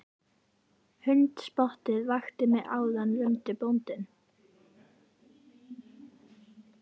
Hundspottið vakti mig áðan rumdi bóndinn.